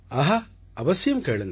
ஆஹா அவசியம் கேளுங்கள்